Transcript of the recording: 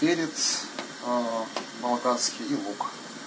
перец а балканский и лук